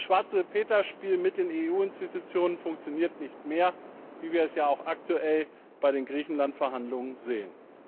Das Schwarzer Peter Spiel mit den EU Institutionen funktioniert nicht mehr, wie wir es ja auch aktuell bei den Griechenland Verhandlungen sehen.